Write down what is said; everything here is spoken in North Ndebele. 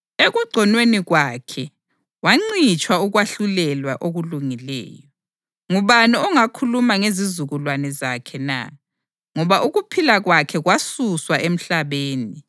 Ekugconweni kwakhe wancitshwa ukwahlulelwa okulungileyo. Ngubani ongakhuluma ngezizukulwane zakhe na? Ngoba ukuphila kwakhe kwasuswa emhlabeni.” + 8.33 U-Isaya 53.7-8